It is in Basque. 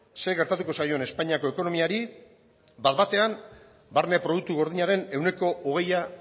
zer gertatuko zaion espainiako ekonomiari bat batean barne produktu gordinaren ehuneko hogeia